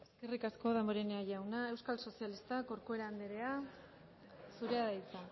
eskerrik asko damborenea jauna euskal sozialistak corcuera anderea zurea da hitza